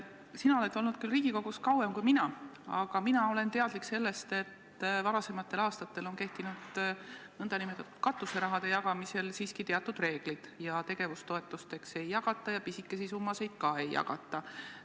Sina oled olnud Riigikogus küll kauem kui mina, aga mina olen teadlik sellest, et varasematel aastatel on nn katuseraha jagamisel kehtinud siiski teatud reeglid: tegevustoetusteks ei jagata ja pisikesi summasid ka ei jagata.